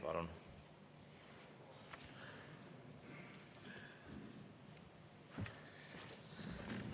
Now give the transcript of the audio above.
Palun!